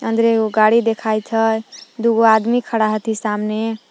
अंदरे एगो गाड़ी देखाइत हइ दुगों आदमी खड़ा हथी सामने--